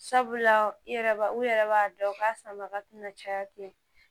Sabula i yɛrɛ b'a u yɛrɛ b'a dɔn u ka sanbaga tɛna caya ten